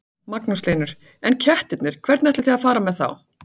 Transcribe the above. Magnús Hlynur: En kettirnir, hvernig ætlið þið að fara með þá?